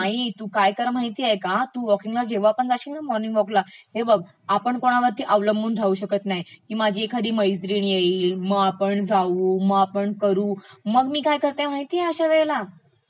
नाही, तुम्ही काय करा माहितेय का, तू वॉकींगला जेव्हा पण जाशील ना मॉर्निंग वॉकला, हे बघ आपण कोणावरती अवलंबून राहू शकत नाही की माझी एखादी मैत्रिण येईल मं आपण जाऊ, मं आपण करू मग मी काय करते माहितेय अश्यावेळेला?